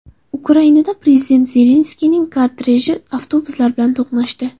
Ukrainada prezident Zelenskiyning korteji avtobuslar bilan to‘qnashdi .